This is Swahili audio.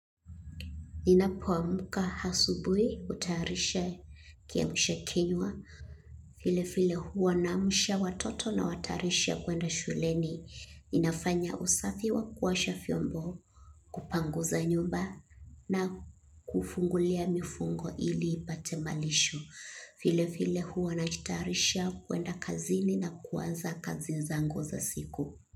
Ninapoamka asubuhi hutayarisha kiamsha kinywa. Vilevile huwa naamsha watoto nawatayarisha kwenda shuleni. Ninafanya usafi wa kuosha vyombo kupanguza nyumba na kufungulia mifugo ili ipate malisho. Vilevile huwa najitayarisha kwenda kazini na kuanza kazi zangu za siku.